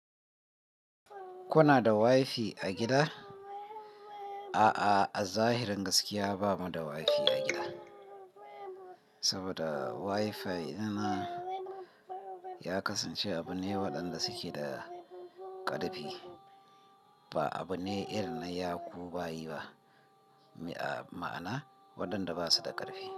Kuna da wifi a gida? A'a, a zahirin gaskiya ba mu da wifi a gida. Saboda wifi yana ya kasance abu ne waɗanda suke da ƙarfi. Ba abu ne irin na ya kubayi ba. Ma'ana waɗanda basu da ƙarfi.